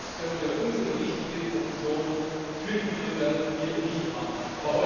Sonst können wir unsere wichtige Funktion für die Bürger hier nicht wahrnehmen.